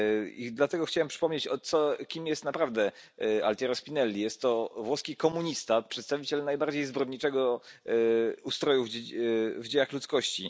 I dlatego chciałem przypomnieć, kim jest naprawdę Altiero Spinelli. Jest to włoski komunista, przedstawiciel najbardziej zbrodniczego z ustrojów w dziejach ludzkości.